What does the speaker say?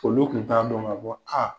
Olu kun t'a dɔn k'a fƆ a